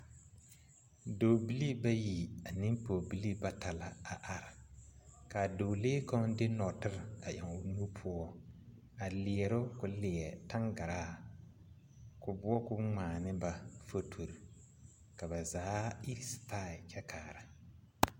Dɔbilii bayi ane pɔɔbilii bata a laŋ a are kaa dɔɔlee kaŋ de nɔɔtire a eŋ o nu poɔ a liɛroo ko leɛ taŋgaraa ko boɔrɔ ko ngmaa ne ba fotorre ka ba zaa iri stai kyɛ kaara.